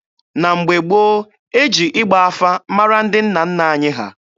Na mgbe gboo, e ji ịgba afa mara ndị nna nna anyị ha.